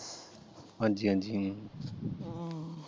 ਹਾਂਜੀ ਹਾਂਜੀ ਹਮ